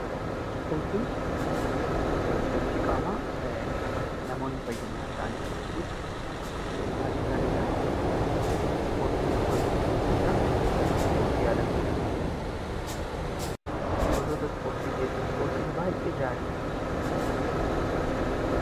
Ispoortiin sochii qaamaa namoonni fayyummaa isaanitiif taasisanidhaa. Ispoortiin gosoota hedduutu jiraa. Ispoortii aadaa ta'uu danda'a jechuudhaa. Gosoota ispoortii keessaa ispoortiin baay'ee gaarii isa kami?